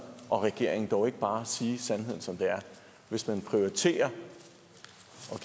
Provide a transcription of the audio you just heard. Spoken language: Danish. og regeringen dog ikke bare sige sandheden som den er hvis man prioriterer